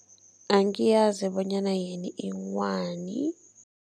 Angiyazi bonyana yini inghwani.